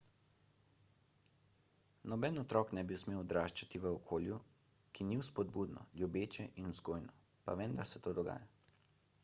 noben otrok ne bi smel odraščati v okolju ki ni vzpodbudno ljubeče in vzgojno pa vendar se to dogaja